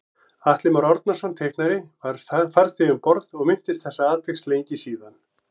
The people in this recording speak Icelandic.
Atli Már Árnason teiknari var farþegi um borð og minntist þessa atviks lengi síðan